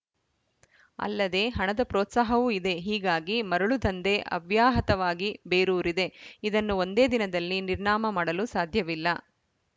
ಅಲ್ಲದೇ ಹಣದ ಪ್ರೋತ್ಸಾಹವೂ ಇದೆ ಹೀಗಾಗಿ ಮರಳು ದಂಧೆ ಅವ್ಯಾಹತವಾಗಿ ಬೇರೂರಿದೆ ಇದನ್ನು ಒಂದೇ ದಿನದಲ್ಲಿ ನಿರ್ನಾಮ ಮಾಡಲು ಸಾಧ್ಯವಿಲ್ಲ